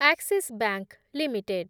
Axis Bank limited